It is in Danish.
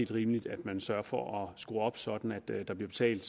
rimeligt at man sørger for at skrue op sådan at det der bliver betalt